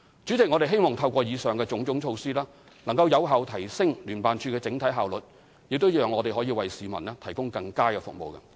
主席，我們希望透過以上種種措施，能有效提升聯辦處整體效率，讓我們為市民提供更佳服務。